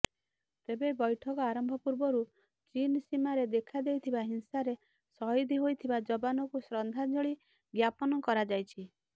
ତେବେ ବ୘ଠକ ଆରମ୍ଭ ପୂର୍ବରୁ ଚୀନ ସୀମାରେ ଦେଖାଦେଇଥିବା ହିଂସାରେ ଶହୀଦ ହୋଇଥିବା ଯବାନଙ୍କୁ ଶ୍ରଦ୍ଧାଞ୍ଜଳି ଜ୍ଞାପନ କରାଯାଇଛି